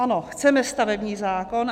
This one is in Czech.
Ano, chceme stavební zákon.